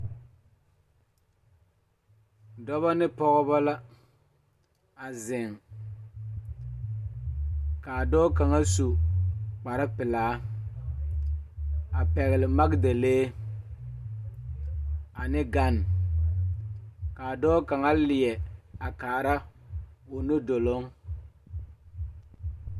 Dɔba ne pɔgeba la a zeŋ k,a dɔɔ kaŋa su kparepelaa a pɛgle makidalee ane gane k,a dɔɔ kaŋa leɛ a kaara o nudoloŋ.